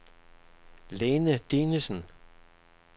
Line Dinesen